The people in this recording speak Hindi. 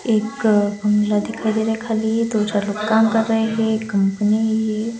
एक बंगला दिखाई दे रहा है खाली दो चार लोग काम कर रहे हैं कंपनी है.